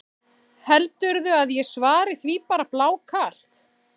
Heldurðu að ég svari því bara blákalt?